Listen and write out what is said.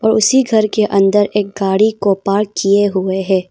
उसी घर के अंदर एक गाड़ी को पार्क किए हुए है।